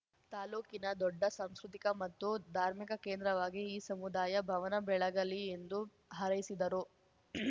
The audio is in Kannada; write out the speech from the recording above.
ತಾಲೂಕಿನ ದೊಡ್ಡ ಸಂಸ್ಕೃತಿಕ ಮತ್ತು ಧಾರ್ಮಿಕ ಕೇಂದ್ರವಾಗಿ ಈ ಸಮುದಾಯ ಭವನ ಬೆಳಗಲಿ ಎಂದು ಹಾರೈಸಿದರು